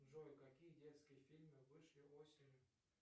джой какие детские фильмы вышли осенью